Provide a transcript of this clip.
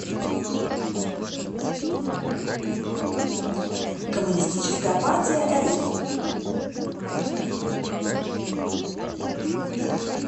коммунистическая партия рф